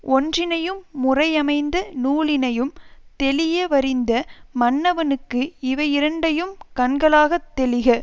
ஒற்றினையும் முறையமைந்த நூலினையும் தெளியவறிந்த மன்னவனுக்கு இவையிரண்டையும் கண்களாகத் தெளிக